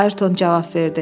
Ayrton cavab verdi.